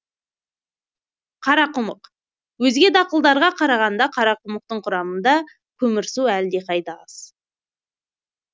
қарақұмық өзге дақылдарға қарағанда қарақұмықтың құрамында көмірсу әлдеқайда аз